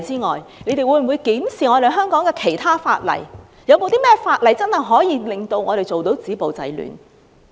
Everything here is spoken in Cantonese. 當局會否檢視其他法例，探討有何方法可真正做到止暴制亂？